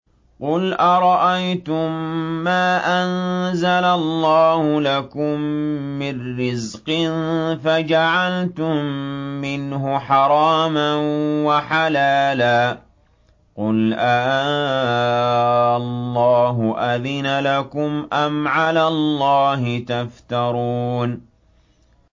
قُلْ أَرَأَيْتُم مَّا أَنزَلَ اللَّهُ لَكُم مِّن رِّزْقٍ فَجَعَلْتُم مِّنْهُ حَرَامًا وَحَلَالًا قُلْ آللَّهُ أَذِنَ لَكُمْ ۖ أَمْ عَلَى اللَّهِ تَفْتَرُونَ